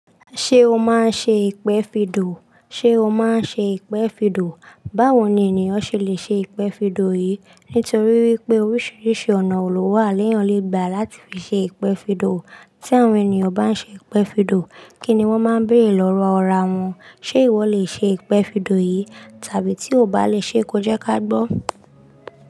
Ṣé o máa ń ṣe ìpẹ́fìdò? Ṣé o máa ń ṣe ìpẹ́fìdò? Báwo ni ènìyàn ṣe lè ṣe ìpẹ́fìdò yìí? Nítorí wípé oríṣiríṣi ọ̀nà òòlù wà léyàn le gba láti fi ṣe ìpẹ́fìdò. Tí àwọn ènìyàn bá ń ṣe ìpẹ́fìdò, kí ni wón máa ń béèrè lọ́wọ́ ọ̀rẹ́ wọn? Ṣé ìwọ lè ṣe ìpẹ́fìdò yìí? Tàbí tí o bá lè ṣe é, ko jẹ́ ká gbọ́.